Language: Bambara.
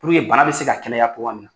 Puruke bana bɛ se ka kɛnɛya cogoya min na.